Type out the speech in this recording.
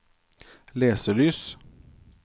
leselys